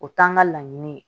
O t'an ka laɲini ye